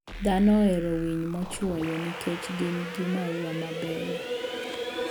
Dhano ohero winy mochuoyo nikech gin gi maua ma beyo.